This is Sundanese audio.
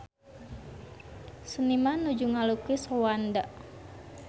Seniman nuju ngalukis Rwanda